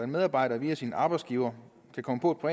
medarbejder via sin arbejdsgiver kan komme på